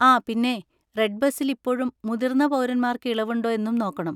ആ, പിന്നെ റെഡ്ബസിൽ ഇപ്പോഴും മുതിർന്ന പൗരന്മാർക്ക് ഇളവുണ്ടോ എന്നും നോക്കണം.